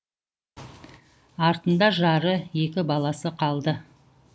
артында жары екі баласы қалды